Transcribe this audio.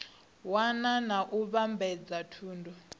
wana na u vhambadza thundu